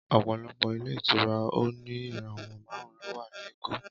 Ọpọlọpọ ilé ìtura òní ìràwọ màrún ló wà ní èkó.